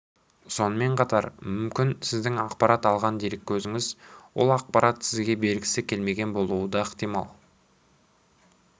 сонымен қатар мүмкін сіздің ақпарат алған дереккөзіңіз ол ақпаратты сізге бергісі келмеген болуы да ықтимал